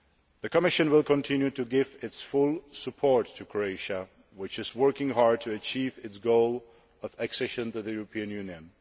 The Commission will continue to give its full support to Croatia, which is working hard to achieve its goal of accession to the European Union.